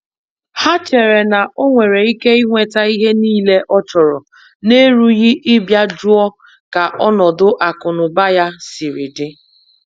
Ha chere na onwere Ike inweta ihe niile ọchọrọ n'erughị ịbịa jụọ ka ọnọdụ akụ na ụba ya siri di.